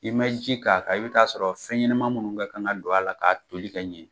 I man ji k'a kan i bɛ t'a sɔrɔ fɛn ɲɛnama munnu kɛ kan ka don a la k'a toli ka ɲɛ.